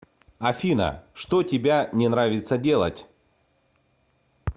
афина что тебя не нравится делать